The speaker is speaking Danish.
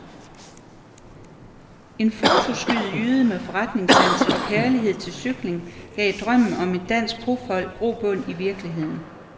En fotosky jyde med forretningssans og kærlighed til cykling gav drømmen om et dansk profhold grobund i virkeligheden.